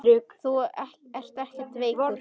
Þú ert ekkert veikur.